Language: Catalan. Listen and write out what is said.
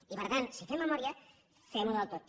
i per tant si fem memòria fem ho del tot